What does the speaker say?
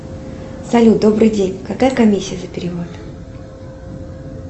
салют добрый день какая комиссия за перевод